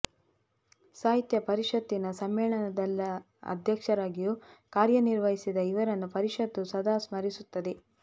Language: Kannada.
ಸಾಹಿತ್ಯ ಪರಿಷತ್ತಿನ ಸಮ್ಮೇಳನಾಧ್ಯಕ್ಷರಾಗಿಯೂ ಕಾರ್ಯ ನಿರ್ವಹಿಸಿದ ಇವರನ್ನು ಪರಿಷತ್ತು ಸದಾ ಸ್ಮರಿಸುತ್ತದೆ